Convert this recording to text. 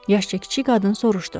Yaşca kiçik qadın soruşdu.